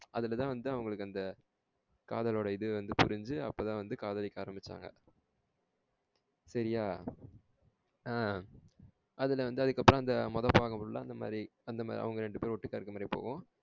அதுலதா வந்து அவங்களுக்கு அந்த காதலோட இது வந்து புரிஞ்சி அப்பத வந்து காதலிக்க ஆரம்பிச்சாங்க. சரியா? அஹ அதுல வந்து அதுக்கு அப்புறம் அந்த முதல் பாகம் full ல அந்த மாரி அவங்க ரெண்டு பெரும் ஓட்டுக்க இருக்குற மாறியே போகும்.